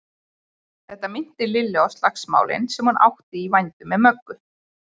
Þetta minnti Lillu á slagsmálin sem hún átti í vændum með Möggu.